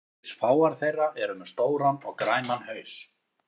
Einungis fáar þeirra eru með stóran og grænan haus.